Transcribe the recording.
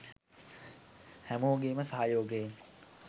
හැමෝගෙම සහයෝගය